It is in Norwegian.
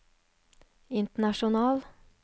international